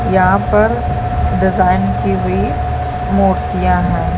यहाँ पर डिज़ाइन की भी मूर्तियाँ हैं |